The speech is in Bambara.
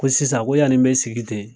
Ko sisan ko yani n be sigi ten